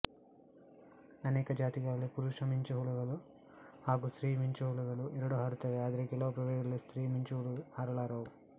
ಅನೇಕ ಜಾತಿಗಳಲ್ಲಿ ಪುರುಷ ಮಿಂಚುಹುಗಳು ಹಾಗು ಸ್ತ್ರೀ ಮಿಂಚುಹುಗಳು ಎರಡು ಹಾರುತ್ತವೆಆದರೆ ಕೆಲವು ಪ್ರಭೇಧಗಳಲ್ಲಿ ಸ್ತ್ರೀ ಮಿಂಚುಹುಳು ಹಾರಲಾರವು